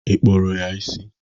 Ị kpụrụ ya isi?